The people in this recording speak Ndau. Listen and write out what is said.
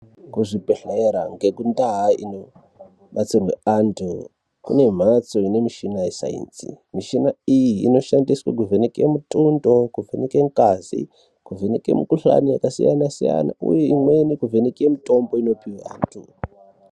Kuzvibhedhlera nekundau inobatsirwa antu kune mbatso ine mushina wesainzi mishina iyi inoshandiswa kuvheneka mutundo Kuvheneka ngazi kuvheneka mukuhlani wakasiyana siyana uye imweni kuvheneka mutombo unopihwa vantu.